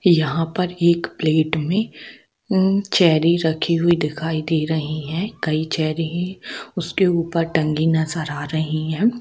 यहां पर एक प्लेट में मम चेरी रखी हुई दिखाई दे रही है कई चेरी उसके ऊपर टंगी नजर आ रही है।